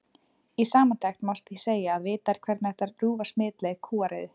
Í samantekt má því segja að vitað er hvernig hægt er að rjúfa smitleið kúariðu.